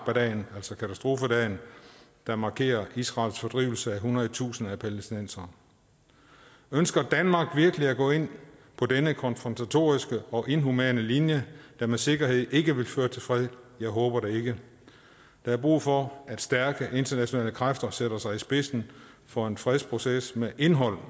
dagen altså katastrofedagen der markerer israels fordrivelse af hundredtusinde af palæstinensere ønsker danmark virkelig at gå ind på denne konfrontatoriske og inhumane linje der med sikkerhed ikke vil føre til fred jeg håber det ikke der er brug for at stærke internationale kræfter sætter sig i spidsen for en fredsproces med indhold